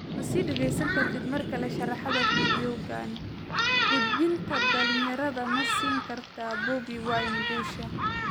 Ma sii dhageysan kartid markale sharraxaadda Fiidiyowga, Codbixinta dhalinyarada ma siin kartaa Bobi Wine guusha?